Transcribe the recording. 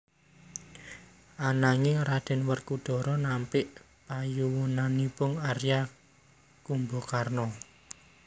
Ananging Raden Werkudara nampik panyuwunanipun Arya Kumbakarna